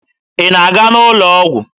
Ị na-aga ụlọ ọgwụ?